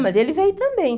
Mas ele veio também.